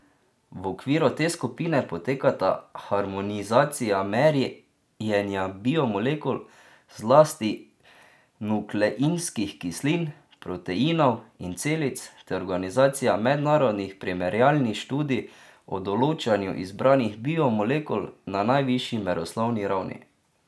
V okviru te skupine potekata harmonizacija merjenja biomolekul, zlasti nukleinskih kislin, proteinov in celic, ter organizacija mednarodnih primerjalnih študij o določanju izbranih biomolekul na najvišji meroslovni ravni.